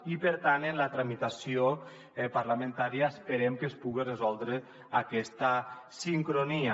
i per tant en la tramitació parlamentària esperem que es puga resoldre aquesta sincronia